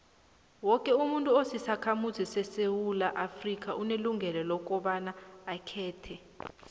woke umuntu osisakhamuzi sesewula afrika unelungelo lokobaba akhethe